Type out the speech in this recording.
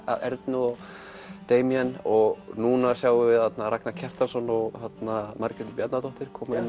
Ernu og og núna sjáum við Ragnar Kjartansson og Valgerði Bjarnadóttur